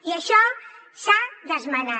i això s’ha d’esmenar